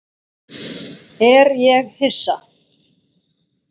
Er ég Hissa?